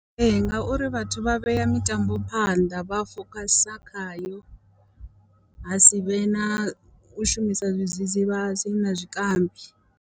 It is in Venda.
Ee ngauri vhathu vha vhea mitambo phanḓa, vha fokhasa khayo ha sivhe na u shumisa zwidzidzivhadzi na zwikambi.